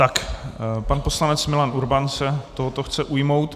Tak pan poslanec Milan Urban se tohoto chce ujmout.